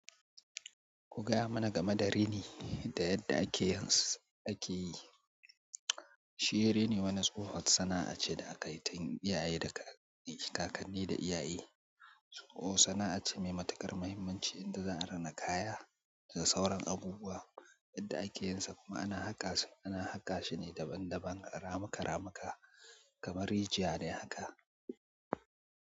Ku gaya mana game da rini da yadda ake yins, ake yi. Shi rini wani tsohon sana'a ce da aka yi tun iyaye da kakanni, kakanni da iyaye. Sana'a ce mai matuƙar muhimmanci inda za a rina kaya da sauran abubuwa. Yadda ake yinsa kuma ana haƙa sa, ana haƙa shi ne daban-daban, ramuka-ramuka kamar rijiya ne haka.